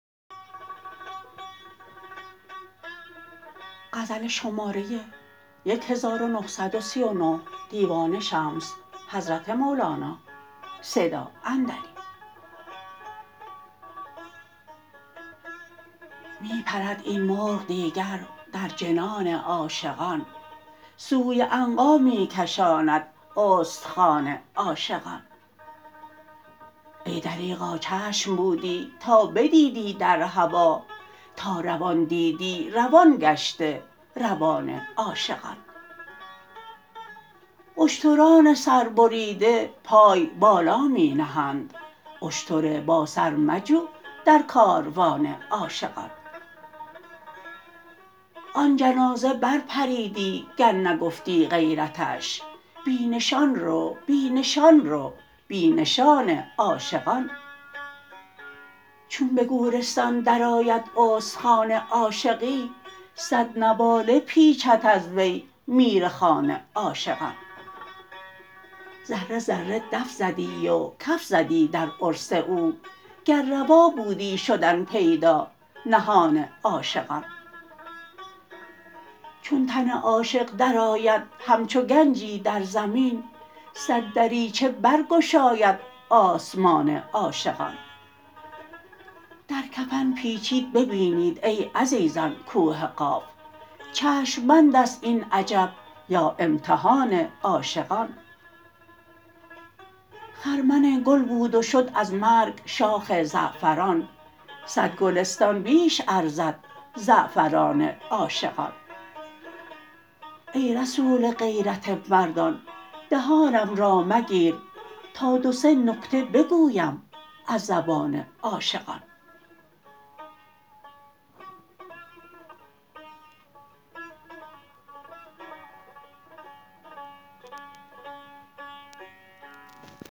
می پرد این مرغ دیگر در جنان عاشقان سوی عنقا می کشاند استخوان عاشقان ای دریغا چشم بودی تا بدیدی در هوا تا روان دیدی روان گشته روان عاشقان اشتران سربریده پای بالا می نهند اشتر باسر مجو در کاروان عاشقان آن جنازه برپریدی گر نگفتی غیرتش بی نشان رو بی نشان رو بی نشان عاشقان چون به گورستان درآید استخوان عاشقی صد نواله پیچد از وی میرخوان عاشقان ذره ذره دف زدی و کف زدی در عرس او گر روا بودی شدن پیدا نهان عاشقان چون تن عاشق درآید همچو گنجی در زمین صد دریچه برگشاید آسمان عاشقان در کفن پیچید بینید ای عزیزان کوه قاف چشم بند است این عجب یا امتحان عاشقان خرمن گل بود و شد از مرگ شاخ زعفران صد گلستان بیش ارزد زعفران عاشقان ای رسول غیرت مردان دهانم را مگیر تا دو سه نکته بگویم از زبان عاشقان